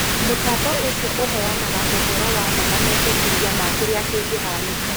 Mũtambo ũcio ũheanaga ũhoro wa ma na mendekithia ma kĩrĩa kĩngĩhanĩka